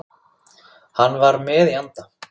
Hann var með í anda.